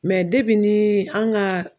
depi ni an ka